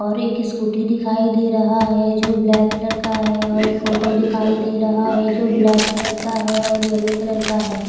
और एक स्कूटी दिखाई दे रहा है जो ब्लैक कलर का है और एक ऑटो दिखाई दे रहा है जो ब्लैक कलर का है और येलो कलर का है।